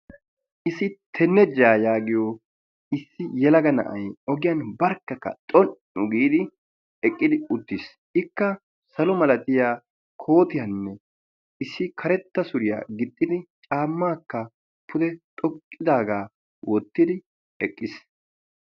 Issi tenejjaa yaagiyoo issi yelaga na'ay ogiyaan barkkaka xon"u giidi eqqidi uttiis. ikka salo malatiyaa shuraabiyaa kootiyaanne issi karetta suriyaa gixxidi caammaakka pude xoqqidaagaa wottidi eqqiis.